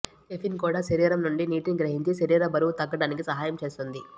caffeine కూడా శరీరం నుండి నీటిని గ్రహించి శరీర బరువు తగ్గటానికి సహాయం చేస్తుంది